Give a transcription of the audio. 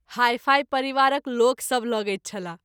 हाई- fi परिवारक लोक सभ लगैत छलाह।